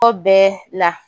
Ko bɛɛ la